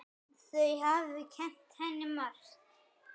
Þau hafi kennt henni margt.